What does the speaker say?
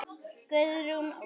Guðrún Ósk.